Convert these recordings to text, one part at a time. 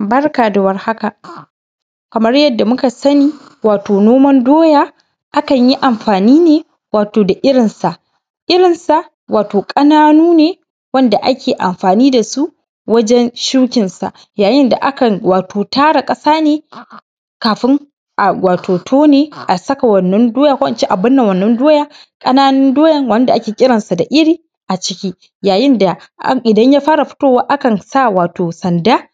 Barka da warhaka. Kamar yadda muka sani, wato noman doya akan yi amfani ne da irinsa, irin sa wato ƙananu ne wanda ake amfani da su wajen shukinsa, yayin da akan tara ƙasa ne kafin a tone a saka wannan doya ko ince a binne wannan doyan, ƙananun doyan wanda ake kiransu da iri a ciki, yayin da idan ya fara fitowa akan sa wato sanda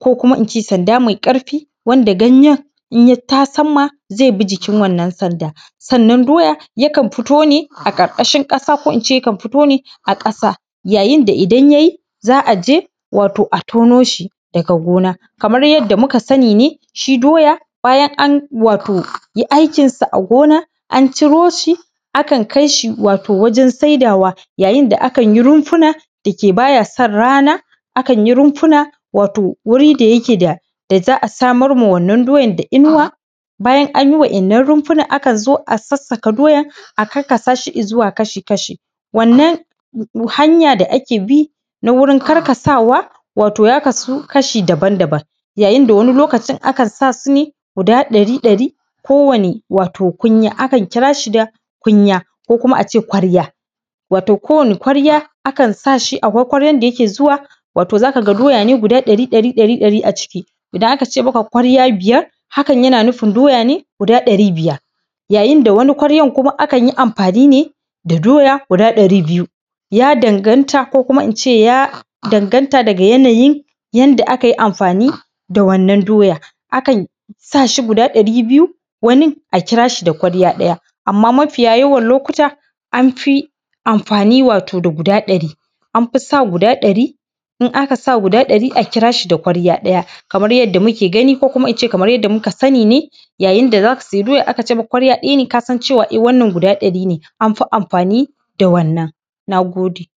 ko kuma sanda mai ƙarfi wanda ganye in ya tasamma zebi jikin wannan sanda. Sannan doyan yakan fito ne a ƙarƙashin ƙasa ko ince yakan fito ne a ƙasa yayinda idan ya yi za a je wato a tonoshi daga gona. Kamar yadda muka sani ne shi doya bayan an wato yi aikinsa a gona an curo shi akan kai shi wato wajen saidawa, ya yin da akan yi rumfuna da yike baya son rana, akan yi rumfuna wato wuri da yake da za a samarma wannan doyar da inuwa, bayan anyi wa’innan rumfunan akan zo a sassaka doyan a ƙarƙasa shi izuwa kashi-kashi, wannan hanya da ake bi na wurin karkarsawa wato ya kasu kashi daban-dabam. Ya yin da wani lokacin akan sa sune guda ɗari ɗari kowani kunya, akan kira shi da kunya, ko kuma ace kwarya, wato kowani kwarya akan sashi akwai kwaryan da yake zuwa wato zaka ga doya ne guda ɗari, ɗari, ɗari a ciki, idan akace maka kwarya biyar hakan yana nufin doya ne guda ɗari biyar, ya yin wani kwaryan akan yi amfani ne da doya guda ɗari biyu ya danganta ko kuma ince ya danganta daga yanayin yanda aka yi amfani da wannan doyan, akan sashi guda ɗari biyu, wani a kira shi da kwarya daya amma mafiya yawan lokuta amfi amfari wato da guda ɗari, anfi sa guda ɗari, in aka sa guda ɗari akan kira shi da kwarya ɗaya, kamar yadda muke gani ko kuma ince kamar yadda muka sani ne, ya yin da zaka siyi doya akace maka kwarya ɗaya ne kasance cewa e wannan guda ɗari ne.an fi amfani da wannan. Na gode.